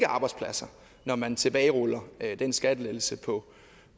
arbejdspladser når man tilbageruller den skattelettelse på